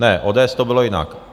Ne, ODS, to bylo jinak.